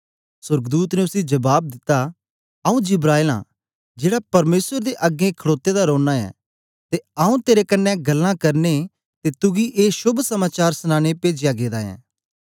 सोर्गदूत ने उसी जबाब दिता आऊँ जिब्राईल आं जेड़ा परमेसर दे अगें खडोते दा रौना ऐं ते आऊँ तेरे कन्ने गल्लां करने ते तुगी ए शोभ समाचार सनांने पेजया गेदा ऐं